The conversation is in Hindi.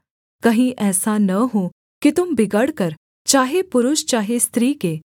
कहीं ऐसा न हो कि तुम बिगड़कर चाहे पुरुष चाहे स्त्री के